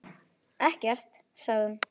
Ekkert, sagði hún.